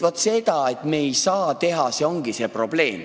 Vot see, et me ei saa seda teha, ongi see probleem.